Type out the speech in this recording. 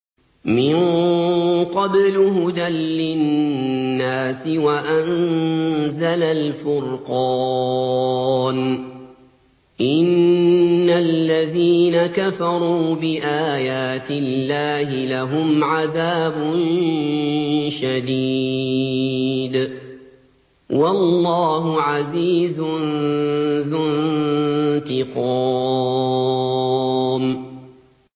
مِن قَبْلُ هُدًى لِّلنَّاسِ وَأَنزَلَ الْفُرْقَانَ ۗ إِنَّ الَّذِينَ كَفَرُوا بِآيَاتِ اللَّهِ لَهُمْ عَذَابٌ شَدِيدٌ ۗ وَاللَّهُ عَزِيزٌ ذُو انتِقَامٍ